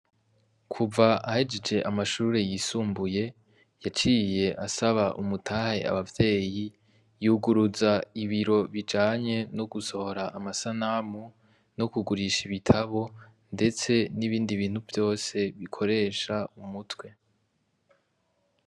Kuva ahejeje amashure y'isumbuye, yaciye asaba umutahe abavyeyi yuguruza ibiro bijanye no gusohora amasanamu no kugurisha ibitabo ndetse n'ibindi bintu vyose bikoresha umutwe.